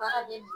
Baara bɛ